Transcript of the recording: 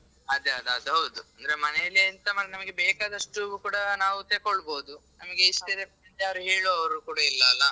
ಅದೇ ಅದೌದು ಅಂದ್ರೆ ಮನೇಲಿ ಎಂತ ನಮಿಗೆ ಬೇಕಾದಷ್ಟು ಕೂಡ ನಾವ್ ತೆಗೋಳ್ಬಹುದು ನಿಮ್ಗೆ ಇಷ್ಟೇ ಯಾರು ಹೇಳುವವರು ಕೂಡ ಇಲ್ಲಲ್ಲಾ.